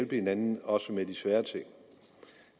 hinanden også med de svære ting